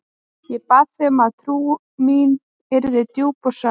Ég bað þig um að trú mín yrði djúp og sönn.